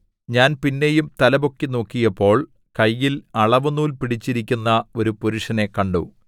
ഞാൻ പിന്നെയും തലപൊക്കി നോക്കിയപ്പോൾ കയ്യിൽ അളവുനൂൽ പിടിച്ചിരിക്കുന്ന ഒരു പുരുഷനെ കണ്ടു